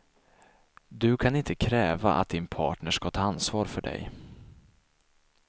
Du kan inte kräva att din partner ska ta ansvar för dig.